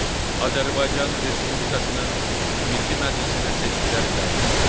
Azərbaycan Respublikasının Milli Məclisinə seçkiləri təyin edir.